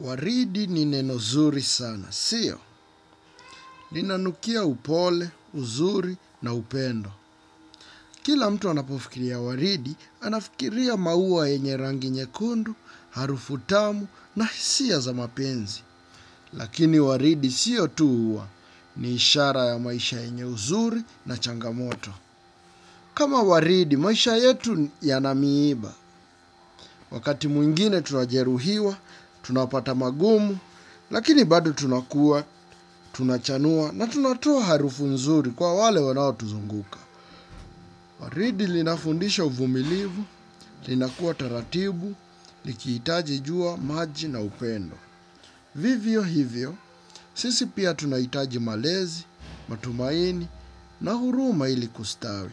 Waridi ni nenozuri sana, siyo. Ninanukia upole, uzuri na upendo. Kila mtu anapofikiria waridi, anafikiria maua yenye rangi nyekundu, harufu tamu na hisia za mapenzi. Lakini waridi siyo tu, ni ishara ya maisha yenye huzuni na changamoto. Kama waridi, maisha yetu yana miiba. Wakati mwingine tunajeruhiwa, tunapata magumu, lakini bado tunakuwa, tunachanua na tunatoa harufu nzuri kwa wale wanao tuzunguka. Waridi linafundisha uvumilivu, linakuwa taratibu, likihitaji jua maji na upendo. Vivyo hivyo, sisi pia tunahitaji malezi, matumaini na huruma ili kustawi.